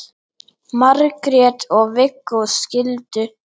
Margrét og Viggó skildu.